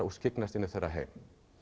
og skyggnast inn í þeirra heim